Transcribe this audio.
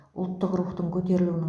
ұлттық рухтың көтерілуінің